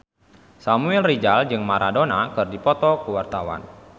Samuel Rizal jeung Maradona keur dipoto ku wartawan